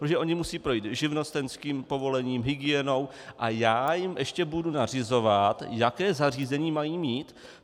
Protože oni musí projít živnostenským povolením, hygienou - a já jim ještě budu nařizovat, jaké zařízení mají mít?